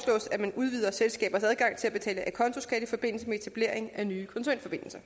at man udvider selskabers adgang til at betale acontoskat i forbindelse med etablering af nye koncernforbindelser